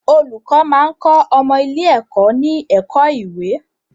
Olùkọ́ máa ń kọ́ ọmọ ilé-ẹ̀kọ́ ní ẹ̀kọ́ ìwé